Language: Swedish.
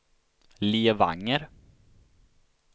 Levanger